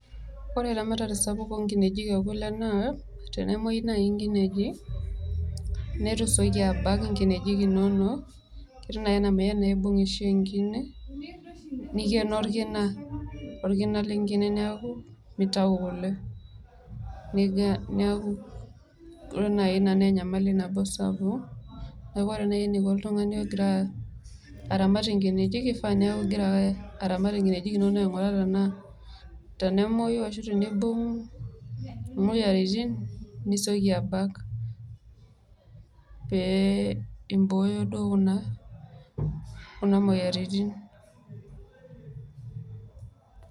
ore eramatare sapuk oo nkineji ekule naa tenemuoyu naaji, inkineji neitu isioki abak inkinejik inonok, neitu naa aishoo iibung' enkine, nikeno orkina. orkina lenkine neeku, mitau kule. neeku ore naaji inaa naa enyamali nabo sapuk. neeku ore naaji eneiko oltung ani egira aramat inkineji, kifaa naa kegira aeke, aramat inkineji inonok, aing'uraa tenaa tenenuoi aatum ioyiaritin nisioki abak. pee ibooyo kuna moyiaritin.